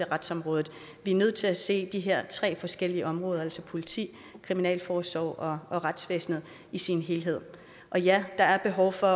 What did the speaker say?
retsområdet vi er nødt til at se de her tre forskellige områder altså politiet kriminalforsorgen og retsvæsenet i sin helhed ja der er behov for